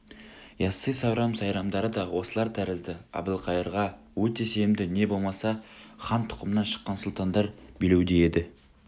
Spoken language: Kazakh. яссы сауран сайрамдарды да осылар тәрізді әбілқайырға өте сенімді не болмаса хан тұқымынан шыққан сұлтандар билеуде еді